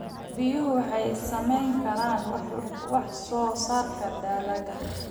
Biyuhu waxay saamayn karaan wax soo saarka dalagga.